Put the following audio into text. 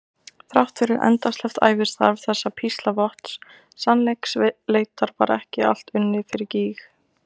Þrátt fyrir endasleppt ævistarf þessa píslarvotts sannleiksleitar var ekki allt unnið fyrir gýg.